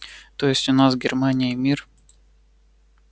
то есть у нас с германией мир